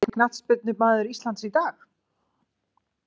Besti knattspyrnumaður Íslands í dag?